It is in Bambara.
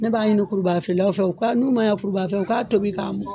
Ne b'a ɲini kurubaga feeralaw fɛ , u ka n'u ma ɲɛ kurubaga feere kɔ, u ka tobi ka mɔ.